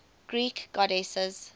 greek goddesses